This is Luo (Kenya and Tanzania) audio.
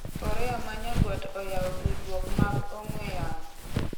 Korea ma Nyanduat oyawo tudruok mag ong'we yamo